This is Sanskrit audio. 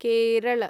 केरल